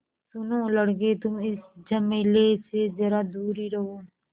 सुनो लड़के तुम इस झमेले से ज़रा दूर ही रहो